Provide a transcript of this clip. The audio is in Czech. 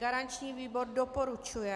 Garanční výbor doporučuje.